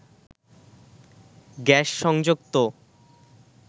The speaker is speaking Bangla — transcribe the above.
গ্যাস সংযোগ তো